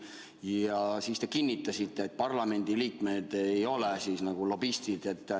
Ja siis te kinnitasite, et parlamendi liikmed nagu ei ole lobistid.